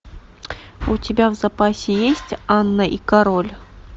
у тебя в запасе есть анна и король